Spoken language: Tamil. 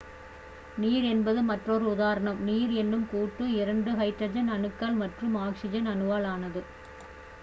நீர் என்பது மற்றொரு உதாரணம் நீர் என்னும் கூட்டு இரண்டு ஹைட்ரஜன் அணுக்கள் மற்றும் ஒரு ஆக்ஸிஜன் அணுவால் ஆனது